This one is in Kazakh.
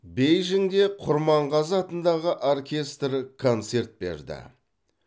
бейжіңде құрманғазы атындағы оркестр концерт берді